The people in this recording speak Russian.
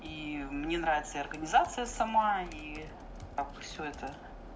и мне нравится и организация сама и как бы всё это